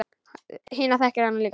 Hina þekkir hann ekki.